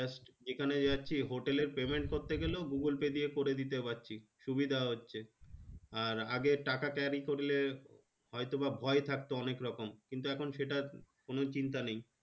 যেখানে যাচ্ছি হোটেলে payment করতে গেলেও google pay দিয়ে করে দিতে পারছি সুবিধা হচ্ছে আর আগে টাকা carry করলে হয়তোবা ভয় থাকতো অনেকরকম কিন্তু এখন সেটা কোনো চিন্তা নেই